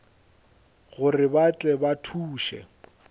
gore ba tle ba thuše